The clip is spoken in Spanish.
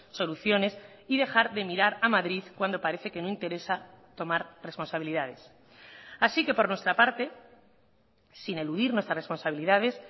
soluciones y dejar de mirar a madrid cuando parece que no interesa tomar responsabilidades así que por nuestra parte sin eludir nuestras responsabilidades